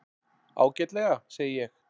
Ágætlega, segi ég.